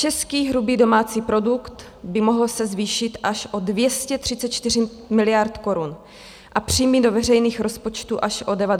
Český hrubý domácí produkt by mohl se zvýšit až o 234 miliard korun a příjmy do veřejných rozpočtů až o 96 miliard.